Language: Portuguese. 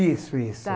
Isso, isso. Tá.